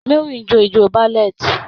Mary ń jó ijó ballet.